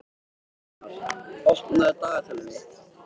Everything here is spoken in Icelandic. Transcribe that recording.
Annar, opnaðu dagatalið mitt.